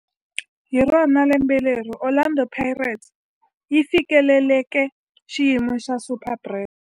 Hi rona lembe leri Orlando Pirates yi fikeleleke xiyimo xa Superbrand.